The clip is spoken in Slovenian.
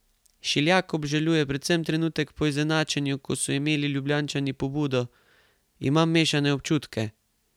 Šiljak obžaluje predvsem trenutek po izenačenju, ko so imeli Ljubljančani pobudo: "Imam mešane občutke.